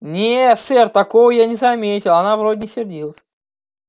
не сэр такого я не заметил она вроде не сердилась